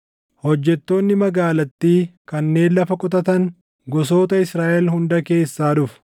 Hojjettoonni magaalattii kanneen lafa qotatan gosoota Israaʼel hunda keessaa dhufu.